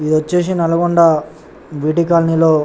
ఇది వచేసి Nalgonda V T colony లో --